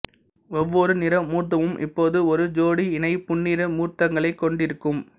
ஒவ்வொரு நிறமூர்த்தமும் இப்போதும் ஒரு ஜோடி இணை புன்னிறமூர்த்தங்களைக் கொண்டிருக்கும்